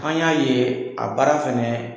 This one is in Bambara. An y'a ye a baara fɛnɛ